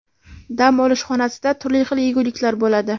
Dam olish xonasida turli xil yeguliklar bo‘ladi”.